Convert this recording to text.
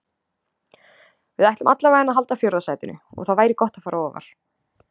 Við ætlum allavegana að halda fjórða sætinu og það væri gott að fara ofar.